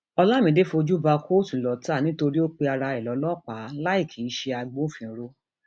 olamide fojú bá kóòtù lọtà nítorí ó pe ara ẹ lọlọpàá láì kì í ṣe agbófinró